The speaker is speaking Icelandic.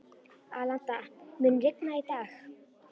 Alanta, mun rigna í dag?